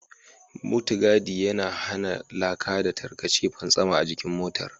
Mutugadi yana hana laka da tarkace fantsama a jikin motar.